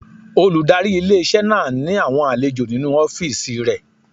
Olùdarí ilé-iṣẹ́ náà ní àwọn àlejò nínu ọ́fìsì rẹ̀